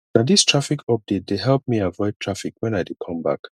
na dis traffic update dey help me avoid traffic wen i dey come back